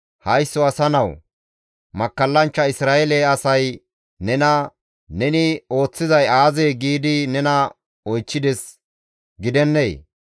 «Haysso asa nawu! Makkallanchcha Isra7eele asay nena, ‹Neni ooththizay aazee?› giidi nena oychchides gidennee?